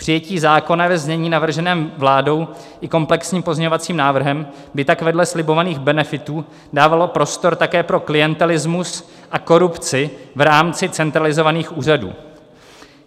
Přijetí zákona ve znění navrženém vládou i komplexním pozměňovacím návrhem by tak vedle slibovaných benefitů dávalo prostor také pro klientelismus a korupci v rámci centralizovaných úřadů.